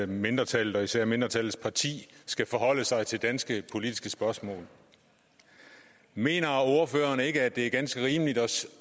mindretallet og især mindretallets parti skal forholde sig til danske politiske spørgsmål mener ordføreren ikke at det er ganske rimeligt at